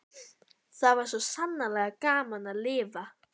Það var svo sannarlega gaman að lifa!